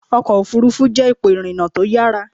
Ọkọ̀ òfuurufú jẹ́ ipò ìrìnà tó yára.